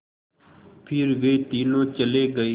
फिर वे तीनों चले गए